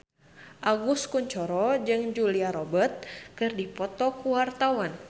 Agus Kuncoro jeung Julia Robert keur dipoto ku wartawan